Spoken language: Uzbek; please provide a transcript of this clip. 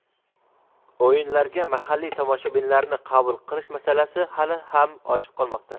o‘yinlarga mahalliy tomoshabinlarni qabul qilish masalasi hali ham ochiq qolmoqda.